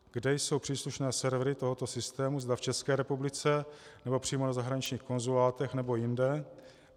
Kde jsou příslušné servery tohoto systému, zda v České republice nebo přímo na zahraničních konzulátech, nebo jinde?